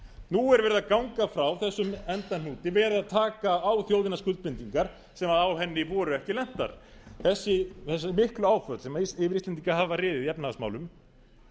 er verið að ganga frá þessum endahnúti verið að taka á þjóðina skuldbindingar sem á henni voru ekki lentar þessi miklu áföll sem yfir íslendinga hafa riðið í efnahagsmálum